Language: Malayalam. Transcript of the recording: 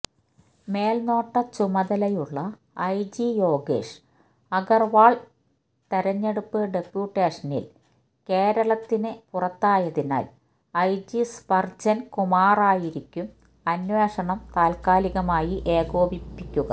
മേല്നോട്ട ചുമതലയുള്ള ഐജി യോഗേഷ് അഗര്വാള് തെരഞ്ഞെടുപ്പ് ഡെപ്യൂട്ടേഷനില് കേരളത്തിന് പുറത്തായതിനാല് ഐജി സ്പര്ജന് കുമാറായിരിക്കും അന്വേഷണം താത്കാലികമായി ഏകോപിക്കുക